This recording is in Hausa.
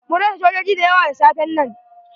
Mun rasa sojoji da yawa da safen nan.